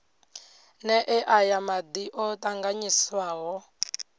nee aya madi o tanganyiswaho